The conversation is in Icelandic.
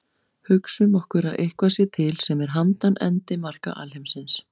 Hugsum okkur að eitthvað sé til sem er handan endimarka alheimsins.